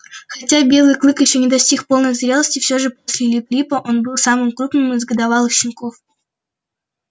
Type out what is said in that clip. хотя белый клык ещё не достиг полной зрелости всё же после лип липа он был самым крупным из годовалых щенков